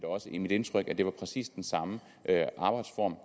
også mit indtryk at det var præcis den samme arbejdsform